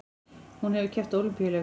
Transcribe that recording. Hún hefur keppt á Ólympíuleikum